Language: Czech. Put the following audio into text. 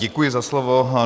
Děkuji za slovo.